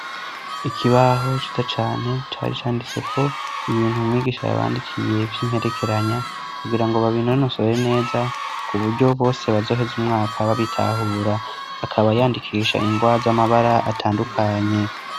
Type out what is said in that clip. Ikibaho ciza cane cari canditseko ibintu mwigisha yabandikiye vy'imperekeranya kugira ngo babinonosore neza ku buryo bose, bazoheza umwaka babitahura. Akaba yandikisha ingwa z'amabara atandukanye.